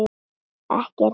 Ekki er það síðra.